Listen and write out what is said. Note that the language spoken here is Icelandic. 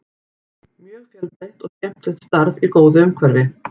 Mjög fjölbreytt og skemmtilegt starf í góðu umhverfi.